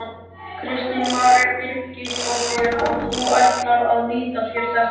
Kristín María Birgisdóttir: Og þú ætlar að nýta þér þetta?